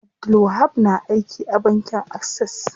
Abdulwahab na aiki a bankin Access.